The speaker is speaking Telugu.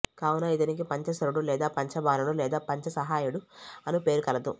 కావున ఇతనికి పంచశరుడు లేదా పంచబాణుడు లేదా పంచసాయకుడు అను పేరు కలదు